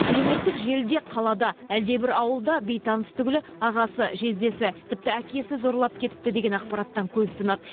әлеуметтік желіде қалада әлдебір ауылда бейтаныс түгілі ағасы жездесі тіпті әкесі зорлап кетіпті деген ақпараттан көз тұнады